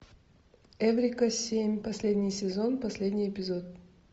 эврика семь последний сезон последний эпизод